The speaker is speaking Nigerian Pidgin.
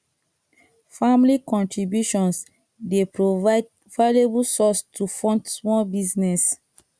family contributions dey provide valuable source to fund small business